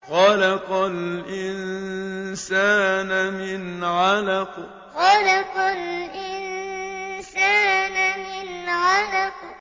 خَلَقَ الْإِنسَانَ مِنْ عَلَقٍ خَلَقَ الْإِنسَانَ مِنْ عَلَقٍ